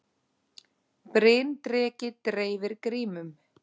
Bryndreki dreifir grímum